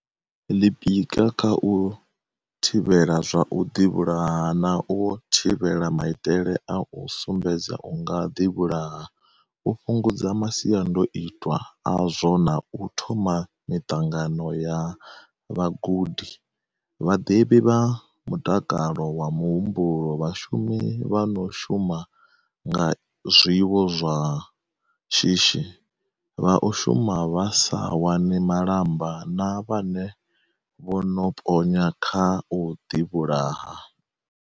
Ḽi pika kha u thivhela zwa u ḓi vhulaha na u thivhela maitele a u sumbedza u nga ḓi vhulaha, u fhungudza masiandoitwa azwo na u thoma miṱangano ya vha gudi, vha ḓivhi vha mutakalo wa muhumbulo, vha shumi vha no shuma nga zwiwo zwa shishi, vha u shuma vha sa wani malamba na vhane vho no ponya kha u ḓi vhulaha.